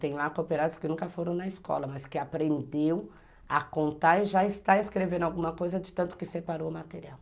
Tem lá cooperativas que nunca foram na escola, mas que aprendeu a contar e já está escrevendo alguma coisa de tanto que separou o material.